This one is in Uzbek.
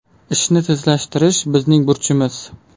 Ishni tezlashtirish bizning burchimiz”.